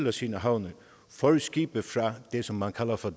af sine havne for skibe fra det som man kalder for